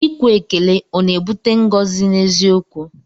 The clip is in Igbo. Ikwe ekele ọ na-ebute ngọzi n'eziokwu?